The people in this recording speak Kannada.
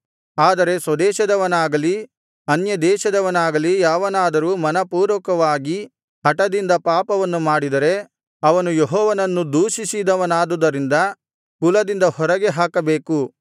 ಆದರೆ ಸ್ವದೇಶದವನಾಗಲಿ ಅನ್ಯದೇಶದವನಾಗಲಿ ಯಾವನಾದರೂ ಮನಃಪೂರ್ವಕವಾಗಿ ಹಟದಿಂದ ಪಾಪವನ್ನು ಮಾಡಿದರೆ ಅವನು ಯೆಹೋವನನ್ನು ದೂಷಿಸಿದವನಾದುದರಿಂದ ಕುಲದಿಂದ ಹೊರಗೆ ಹಾಕಬೇಕು